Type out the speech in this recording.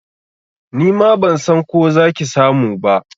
Nima ban san ko za ki samu ba.